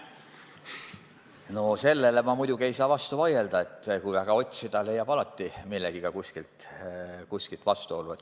Sellele ei saa ma muidugi vastu vaielda, et kui väga otsida, leiab alati kusagilt millegagi vastuolu.